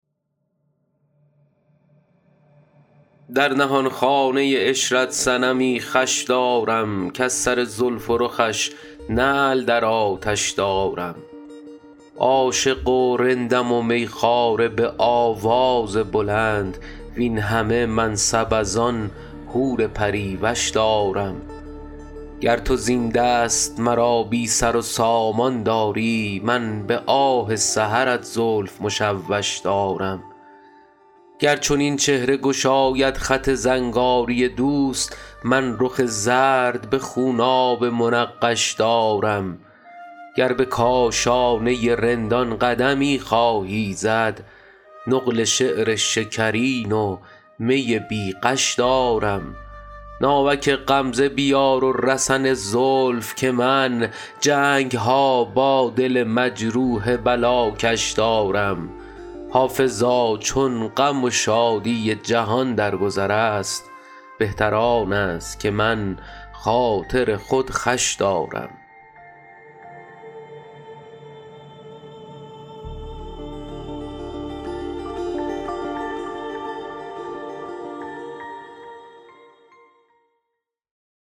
در نهانخانه عشرت صنمی خوش دارم کز سر زلف و رخش نعل در آتش دارم عاشق و رندم و می خواره به آواز بلند وین همه منصب از آن حور پری وش دارم گر تو زین دست مرا بی سر و سامان داری من به آه سحرت زلف مشوش دارم گر چنین چهره گشاید خط زنگاری دوست من رخ زرد به خونابه منقش دارم گر به کاشانه رندان قدمی خواهی زد نقل شعر شکرین و می بی غش دارم ناوک غمزه بیار و رسن زلف که من جنگ ها با دل مجروح بلاکش دارم حافظا چون غم و شادی جهان در گذر است بهتر آن است که من خاطر خود خوش دارم